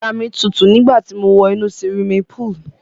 Ara mi tutu nígbà ti mo wọ inú siwimi púùlù.